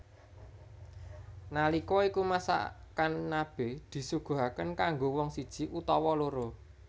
Nalika iku masakan nabe disuguhake kanggo wong siji utawa loro